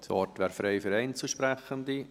Das Wort wäre frei für Einzelsprechende.